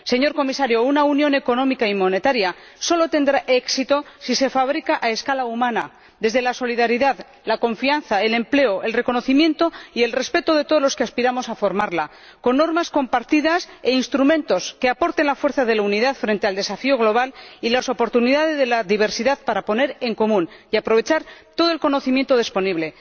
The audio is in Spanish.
Señor Comisario, una Unión Económica y Monetaria sólo tendrá éxito si se fabrica a escala humana, desde la solidaridad, la confianza, el empleo, el reconocimiento y el respeto de todos los que aspiramos a formarla, con normas compartidas e instrumentos que aporten la fuerza de la unidad frente al desafío global y las oportunidades de la diversidad para poner en común y aprovechar todo el conocimiento disponible.